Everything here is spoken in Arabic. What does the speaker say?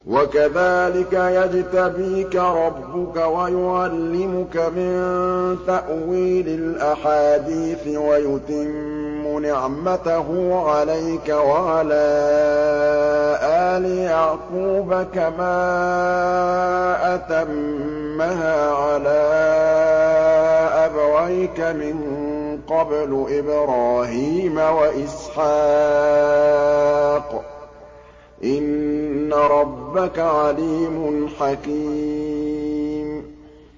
وَكَذَٰلِكَ يَجْتَبِيكَ رَبُّكَ وَيُعَلِّمُكَ مِن تَأْوِيلِ الْأَحَادِيثِ وَيُتِمُّ نِعْمَتَهُ عَلَيْكَ وَعَلَىٰ آلِ يَعْقُوبَ كَمَا أَتَمَّهَا عَلَىٰ أَبَوَيْكَ مِن قَبْلُ إِبْرَاهِيمَ وَإِسْحَاقَ ۚ إِنَّ رَبَّكَ عَلِيمٌ حَكِيمٌ